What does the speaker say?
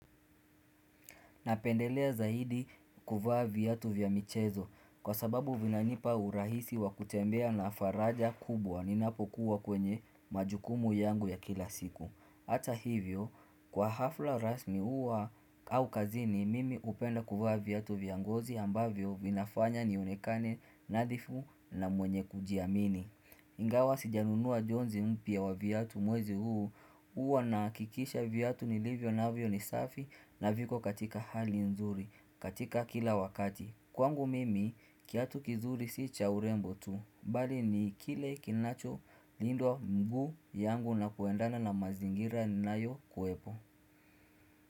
Napendelea zaidi kuvaa viatu vya michezo kwa sababu vinanipa urahisi wa kutembea na faraja kubwa ninapokuwa kwenye majukumu yangu ya kila siku. Ata hivyo, kwa hafla rasmi huwa au kazini, mimi upenda kuvaa viatu vya ngozi ambavyo vinafanya nionekane nadhifu na mwenye kujiamini. Ingawa sijanunua jonzi mpya wa viatu mwezi huu Uwa nahakikisha viatu nilivyo navyo ni safi na viko katika hali nzuri katika kila wakati Kwangu mimi kiatu kizuri si cha urembo tu bali ni kile kinacholindwa mguu yangu na kuendana na mazingira ninayokuepo.